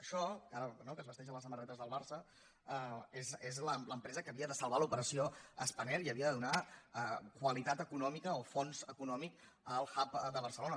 això que es vesteix a les samarretes del barça és l’empresa que havia de salvar l’operació spanair i havia de donar qualitat econòmica o fons econòmic al hub de barcelona